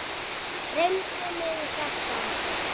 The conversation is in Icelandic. Dreymdi mig þetta?